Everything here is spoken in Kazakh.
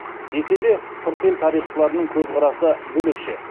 десе де сырт ел тарихшыларының көзқарасы бөлекше